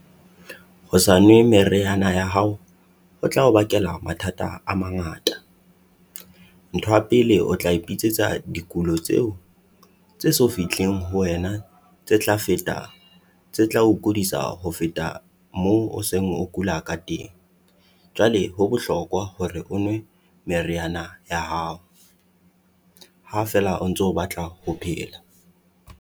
Ho sa nwe meriana ya hao ho tla o bakela mathata a mangata. Ntho ya pele o tla ipitsetsa dikulo tseo tse so fihleng ho wena tse tlang fetang. Tse tlao kudisa ho feta moo o seng o kula ka teng. Jwale ho bohlokwa hore o nwe meriana ya hao, ha feela o ntso batla ho phela.